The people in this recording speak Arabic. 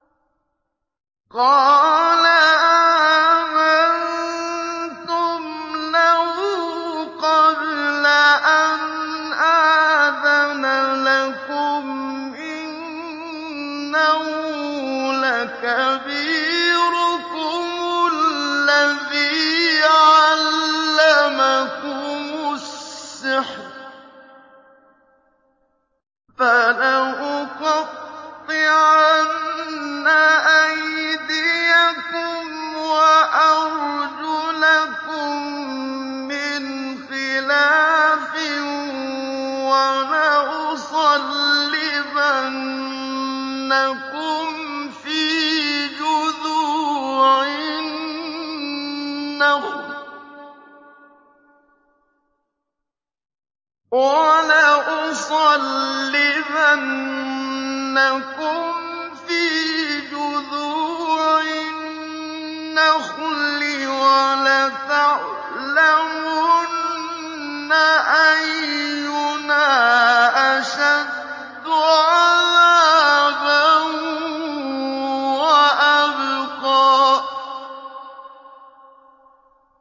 قَالَ آمَنتُمْ لَهُ قَبْلَ أَنْ آذَنَ لَكُمْ ۖ إِنَّهُ لَكَبِيرُكُمُ الَّذِي عَلَّمَكُمُ السِّحْرَ ۖ فَلَأُقَطِّعَنَّ أَيْدِيَكُمْ وَأَرْجُلَكُم مِّنْ خِلَافٍ وَلَأُصَلِّبَنَّكُمْ فِي جُذُوعِ النَّخْلِ وَلَتَعْلَمُنَّ أَيُّنَا أَشَدُّ عَذَابًا وَأَبْقَىٰ